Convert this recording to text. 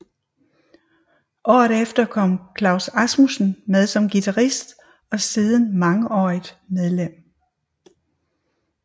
Året efter kom Claus Asmussen med som guitarist og siden mangeårigt medlem